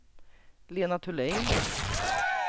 Lena Thulin